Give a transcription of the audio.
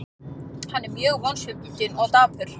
Hann er mjög vonsvikinn og dapur.